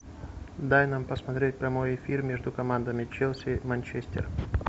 дай нам посмотреть прямой эфир между командами челси манчестер